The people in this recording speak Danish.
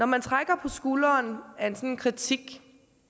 man trækker på skulderen af en sådan kritik